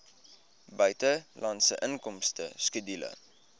buitelandse inkomste skedule